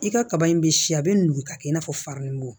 I ka kaba in bɛ si a bɛ nugu ka kɛ i n'a fɔ faralugu